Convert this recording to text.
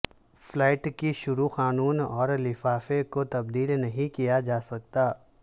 flat کی شرح خانوں اور لفافے کو تبدیل نہیں کیا جا سکتا